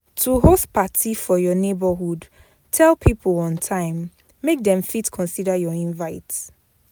To host parti for your neighborhood tell pipo on time make dem fit consider your invite